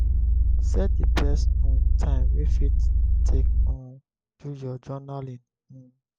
set di best um time wey you fit take um do your journalling um